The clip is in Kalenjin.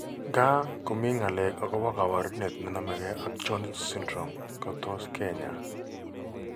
Nkaa, ko mi ng'alek akpo kaabarunet ne name kee ak Jones syndrome ko tos ke ny'aay.